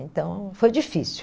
Então, foi difícil.